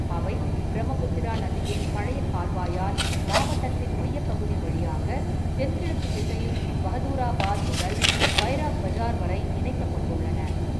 அவை பிரம்மபுத்திரா நதியின் பழைய கால்வாயால் மாவட்டத்தின் மையப்பகுதி வழியாக தென்கிழக்கு திசையில் பஹதூராபாத் முதல் பைராப் பஜார் வரை இணைக்கப்பட்டுள்ளன.